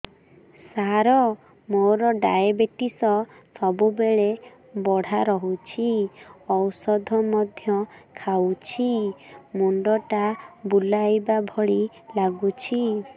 ସାର ମୋର ଡାଏବେଟିସ ସବୁବେଳ ବଢ଼ା ରହୁଛି ଔଷଧ ମଧ୍ୟ ଖାଉଛି ମୁଣ୍ଡ ଟା ବୁଲାଇବା ଭଳି ଲାଗୁଛି